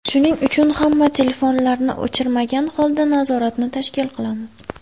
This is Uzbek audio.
Shuning uchun hamma telefonlarni o‘chirmagan holda nazoratni tashkil qilamiz.